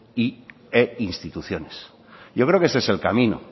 e instituciones yo creo que ese es el camino